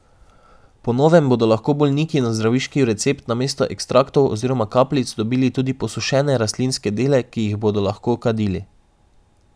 Po novem bodo lahko bolniki na zdravniški recept namesto ekstraktov oziroma kapljic dobili tudi posušene rastlinske dele, ki jih bodo lahko kadili.